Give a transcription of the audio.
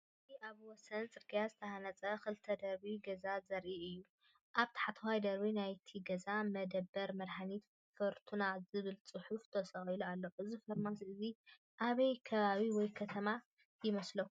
እዚ ኣብ ወሰን ጽርግያ ዝተሃንጸ ክልተ ደርቢ ገዛ ዘርኢ እዩ። ኣብ ታሕተዋይ ደርቢ ናይቲ ገዛ “መደበር መድሃኒት ፊርቱና” ዝብል ጽሑፍ ተሰቒሉ ኣሎ። እዚ ፋርማሲ እዚ ኣበይ ከባቢ ወይም ከተማ ይመስለኩም?